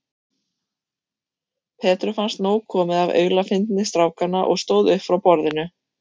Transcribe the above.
Petru fannst nóg komið af aulafyndni strákanna og stóð upp frá borðinu.